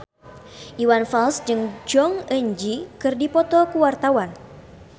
Iwan Fals jeung Jong Eun Ji keur dipoto ku wartawan